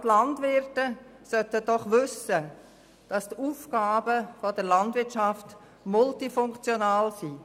Gerade Landwirte sollten doch wissen, dass die Aufgaben der Landwirtschaft multifunktional sind.